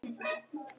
Þetta bara gerist.